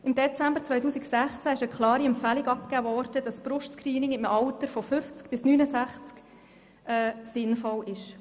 Im Dezember 2016 ist eine klare Empfehlung abgegeben worden, dass ein Brust-Screening im Alter von 50 bis 69 Jahren sinnvoll ist.